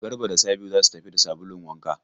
Garba da Sabi'u za su tafi da sabulun wanka.